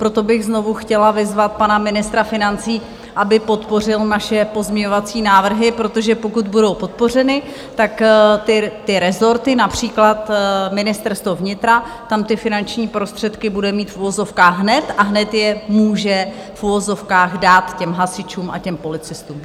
Proto bych znovu chtěla vyzvat pana ministra financí, aby podpořil naše pozměňovací návrhy, protože pokud budou podpořeny, tak ty rezorty, například Ministerstvo vnitra, tam ty finanční prostředky bude mít v uvozovkách hned a hned je může v uvozovkách dát těm hasičům a těm policistům.